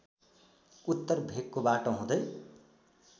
उत्तर भेकको बाटो हुँदै